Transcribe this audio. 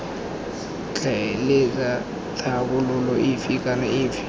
tlhaeletsana tlhabololo efe kana efe